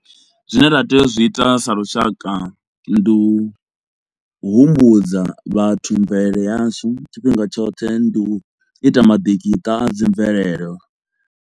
Zwine nda tea u zwi ita sa lushaka ndi u humbudza vhathu mvelele yashu tshifhinga tshoṱhe, ndi u ita maḓikiṱa a dzi mvelele.